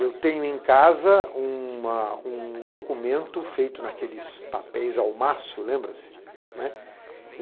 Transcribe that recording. Eu tenho em casa uma um documento feito naqueles papéis almaço, lembra-se? Né?